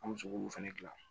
An bɛ se k'olu fɛnɛ gilan